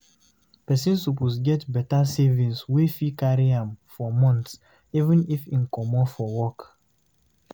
Person suppose get better savings wey fit carry am for months even if im comot for work